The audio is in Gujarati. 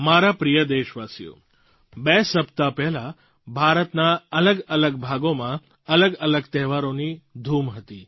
મારા પ્રિય દેશવાસીઓ બે સપ્તાહ પહેલાં ભારતના અલગઅલગ ભાગોમાં અલગઅલગ તહેવારોની ધૂમ હતી